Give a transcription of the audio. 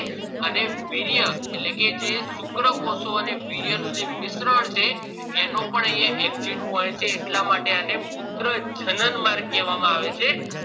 અને વીર્ય એટલે કે જે શુક્રકોષો અને વીર્ય નું જે મિશ્રણ છે એનું પણ અહિયાં exit point અને મૂત્રજનન માર્ગ કેવા આવે છે